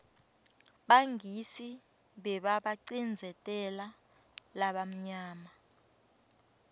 bangisi bebabacindzeteu balabamnyama